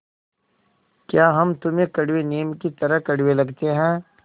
या हम तुम्हें कड़वे नीम की तरह कड़वे लगते हैं